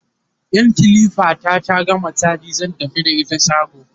in kilifa ta ta gama chaji zan tafi da ita shago